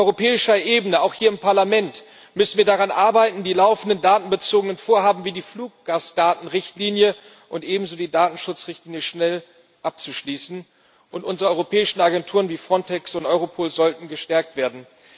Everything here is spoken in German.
Auf europäischer Ebene, auch hier im Parlament, müssen wir daran arbeiten, die laufenden datenbezogenen Vorhaben wie die Fluggastdatenrichtlinie und ebenso die Datenschutzrichtlinie schnell abzuschließen, und unsere europäischen Agenturen wie Frontex und Europol sollten gestärkt werden.